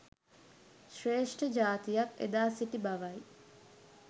ශ්‍රේෂ්ඨ ජාතියක් එදා සිටි බවයි.